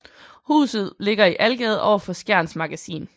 Huset ligger i Algade overfor Skjerns Magasin